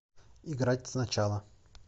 играть сначала